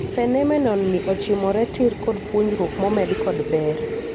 Phenomenon ni ochimore tiir kod puonjruok momed kod ber.